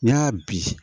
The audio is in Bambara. N'i y'a bi